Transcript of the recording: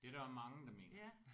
Det er der mange der mener